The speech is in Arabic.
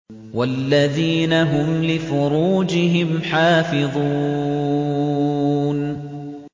وَالَّذِينَ هُمْ لِفُرُوجِهِمْ حَافِظُونَ